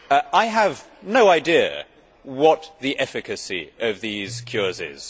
I have no idea what the efficacy of these cures is.